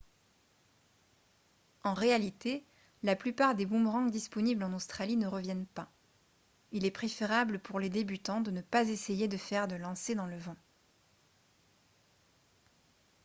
en réalité la plupart des boomerangs disponibles en australie ne reviennent pas il est préférable pour les débutants de ne pas essayer de faire de lancers dans le vent